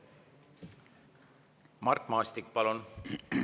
Mart Maastik, palun!